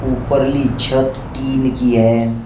ऊपर ली छत टीन की है।